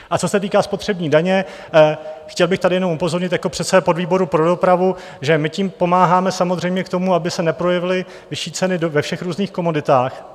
A co se týká spotřební daně, chtěl bych tady jenom upozornit jako předseda podvýboru pro dopravu, že my tím pomáháme samozřejmě k tomu, aby se neprojevily vyšší ceny ve všech různých komoditách.